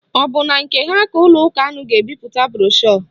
Ọ bụ na nke ha ka ụlọ ụka unu ga-ebipụta broshu?